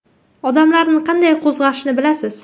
Odamlarni qanday qo‘zg‘ashni bilasiz.